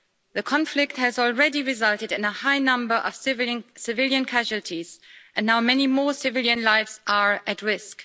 The conflict has already resulted in a high number of civilian casualties and now many more civilian lives are at risk.